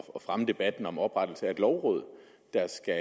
at fremme debatten om oprettelse af et lovråd der skal